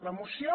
la moció